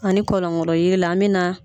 Ani kɔlɔnkolo yiri la an mɛ na